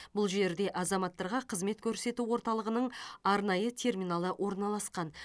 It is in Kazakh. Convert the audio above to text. бұл жерде азаматтарға қызмет көрсету орталығының арнайы терминалы орналасқан